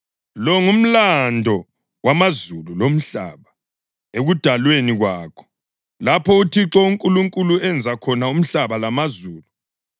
Lo ngumlando wamazulu lomhlaba ekudalweni kwakho, lapho uThixo uNkulunkulu enza khona umhlaba lamazulu.